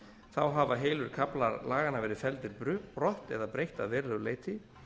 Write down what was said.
þá hafa heilu kaflar laganna verið felldir brott eða breytt að verulegu leyti